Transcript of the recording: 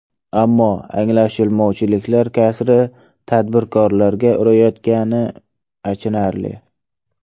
Ammo anglashilmovchiliklar kasri tadbirkorlarga urayotgani achinarli.